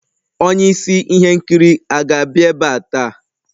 Onye isi ihe nkiri a ga-abịa ebe a taa?